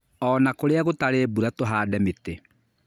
Ona kũrĩa gũtarĩ mbura tũhande mĩtĩ.